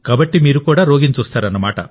కాబట్టి మీరు కూడా రోగిని చూస్తారు